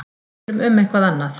Tölum um eitthvað annað.